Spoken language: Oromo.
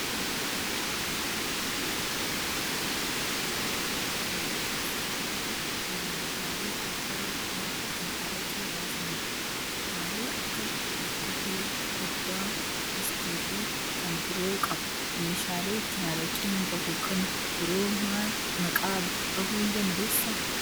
Araqeen dhugaatii dhangaggaa'aa fi gubaa nama macheessudha. Waanti kun meeshaalee aadaa karaa ittiin araqee baasani dha. Kutaalee akka okkotee, koddaa, distii fi kan biroo qaba. Meeshaalee ittiin araqeen bahu kan biroo maqaa dhahuu ni dandeessaa?